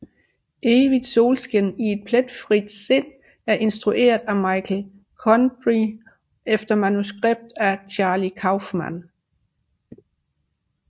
Evigt solskin i et pletfrit sind er instrueret af Michel Gondry efter manuskript af Charlie Kaufman